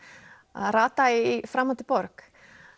að rata í framandi borg